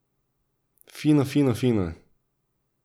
Fino, fino, fino!